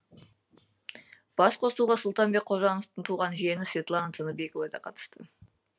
басқосуға сұлтанбек қожановтың туған жиені светлана тыныбекова да қатысты